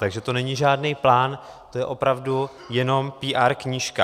Takže to není žádný plán, to je opravdu jenom PR knížka.